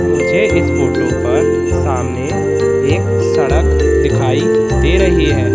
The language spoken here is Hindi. मुझे इस फोटो पर सामने एक सड़क दिखाई दे रही है।